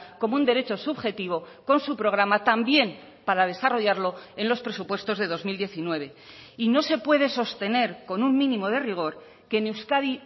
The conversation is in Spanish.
como un derecho subjetivo con su programa también para desarrollarlo en los presupuestos de dos mil diecinueve y no se puede sostener con un mínimo de rigor que en euskadi